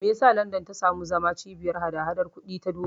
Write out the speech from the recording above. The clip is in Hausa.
Me yasa London ta zama cibiyar hada-hadar kuɗi ta duniya?